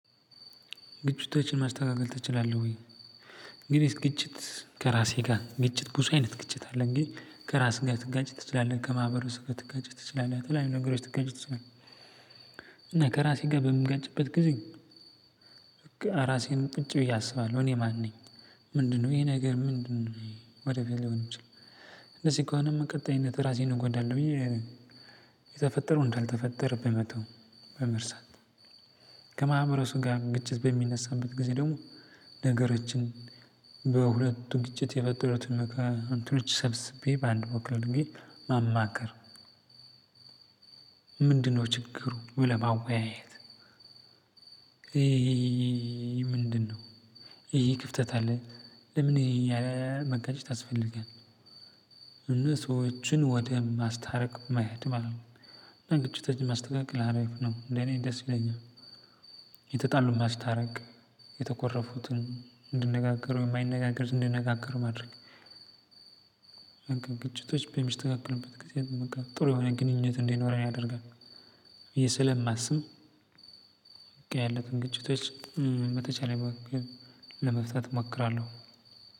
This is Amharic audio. ግጭቶችን ማስተካከል ትችላለህ? ወይ ግን የስ ግጭት ከራሴ ጋር ግጭት ብዙ አይነት ግጭት አለ ግን ከራስህ ጋር ትጋጭ ትችላለህ። ከማህበሩ ስህተት ትጋጭ ትችላለህ። ትላለህ ከተለያዩ ነገሮች ትጋጭ ትችላለህ እና ከራሴ ጋር በምጋጭበት ጊዜ። ራሴን ቁጭ ብዬ አስባለሁ እኔ ማን ነኝ? ምንድነው ይሄ ነገር ምንድነው ወደፊያ ሊሆን የሚችለው? እንደዚህ ከሆነ በቀጣይነት ራሴን እንጎዳለሁ ብዬ የተፈጠረውን እንዳልተፈጠረ በመተው በመርሳት። ከማህበረሰቡ ጋር ግጭት በሚነሳበት ጊዜ ደግሞ ነገሮችን በሁለቱ ግጭት የፈጠሩትን እንትኖች ሰብስቤ በአንድ ቦታ ላይ አድርጌ ማማከር። ምንድነው ችግሩ ብለህ ማወያየት? ምንድነው? ይሄ ክፍተት አለ። ለምን ይሄ መጋጨት ያስፈልጋል? እና ሰዎችን ወደ ማስታረቅ መሄድ ማለት ነው። አና ግጭቶችን ማስተካከል አሪፍ ነው ለእኔ ደስ ይለኛል። የተጣሉ ማስታረቅ የተኮረፉትን እንዲነጋገሩ የማይነጋገሩት እንዲነጋገሩ ማድረግ። በቃ ግጭቶች በሚስተካከሉበት ጊዜ ጥሩ የሆነ ግንኙነት እንዲኖረን ያደርጋል። ብዬ ስለማስብ በቃ ያለፈን ግጭቶች በተቻለኝ አቅም ለመፍታት እሞክራለሁ።